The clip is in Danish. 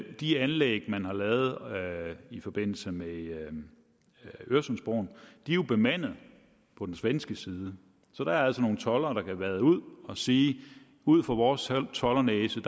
de anlæg man har lavet i forbindelse med øresundsbroen er jo bemandet på den svenske side så der er altså nogle toldere der kan vade ud og sige ud fra vores toldernæse